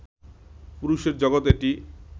পুরুষের জগত এটি